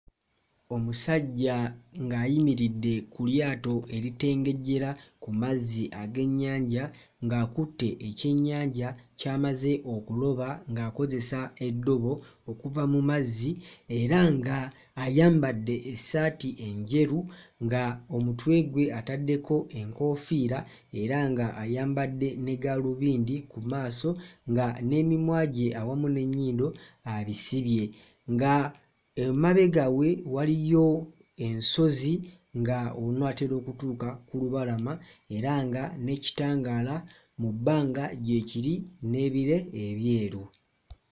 Omusajja ng'ayimiridde ku lyato eritengejjera ku mazzi ag'ennyanja ng'akutte ekyenyanja ky'amaze okuloba ng'akozesa eddobo okuva mu mazzi era ng'ayambadde essaati enjeru, nga omutwe gwe ataddeko enkofiira era ng'ayambadde ne ggaalubindi ku maaso nga n'emimwa gye awamu n'ennyindo abisibye nga emabega we waliyo ensozi , ng'onaatera okutuuka ku lubalama era nga n'ekitangaala mu bbanga gye kiri n'ebire ebyeru.